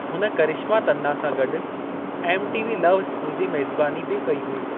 हुन करिश्मा तन्ना सां गॾु एम.टी.वी. लव स्कूल जी मेज़बानी बि कई हुई।